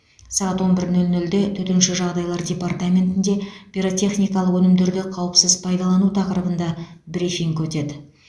сағат он бір нөл нөлде төтенше жағдайлар департаментінде пиротехникалық өнімдерді қауіпсіз пайдалану тақырыбында брифинг өтеді